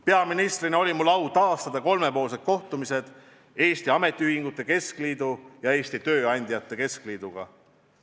Peaministrina oli mul au taaskäivitada kolmepoolsed kohtumised Eesti Ametiühingute Keskliidu ja Eesti Tööandjate Keskliiduga.